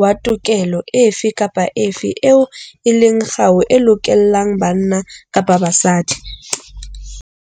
wa tokelo efe kapa efe eo e leng kgau e lokollang banna kapa basadi'.